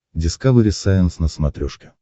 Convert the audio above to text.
дискавери сайенс на смотрешке